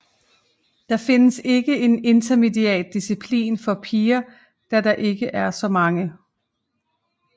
Der findes ikke en Intermediate disciplin for piger da der ikke er så mange